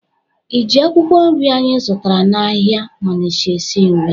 Ị ji akwụkwọ nri anyị zụtara n'ahịa Onịcha esi nri?